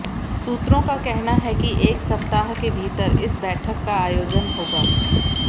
सूत्रों का कहना है कि एक सप्ताह के भीतर इस बैठक का आयोजन होगा